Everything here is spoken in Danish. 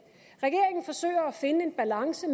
regeringen forsøger at finde en balance